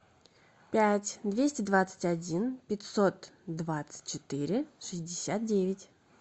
пять двести двадцать один пятьсот двадцать четыре шестьдесят девять